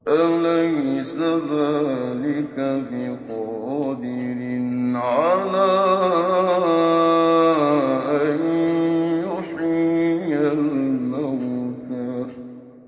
أَلَيْسَ ذَٰلِكَ بِقَادِرٍ عَلَىٰ أَن يُحْيِيَ الْمَوْتَىٰ